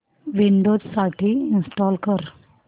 Windows साठी install कर